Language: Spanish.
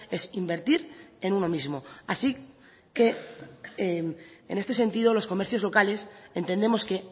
es invertir en uno mismo así que en este sentido los comercios locales entendemos que